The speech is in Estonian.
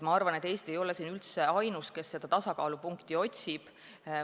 Ma arvan, et Eesti ei ole siin ainus, kes seda tasakaalupunkti otsib.